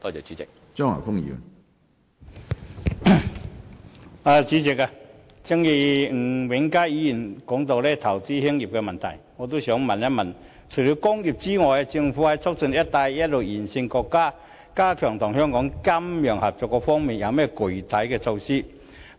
主席，吳永嘉議員提到投資興業的問題，我亦想詢問除了工業外，政府就促進"一帶一路"沿線國家及地區加強與香港的金融合作有何具體措施？